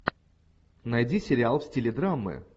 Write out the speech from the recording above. найди сериал в стиле драмы